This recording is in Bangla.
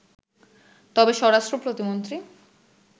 তবে স্বরাষ্ট্র প্রতিমন্ত্রী